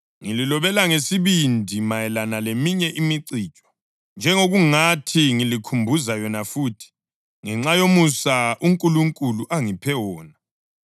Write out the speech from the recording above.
Ngililobele ngesibindi mayelana leminye imicijo, njengokungathi ngilikhumbuza yona futhi, ngenxa yomusa uNkulunkulu angiphe wona